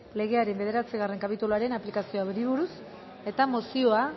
legearen bederatzigarren kapituluaren aplikazioari buruz mozioa